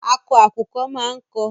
Akọ àkùkọ máa ń kọ.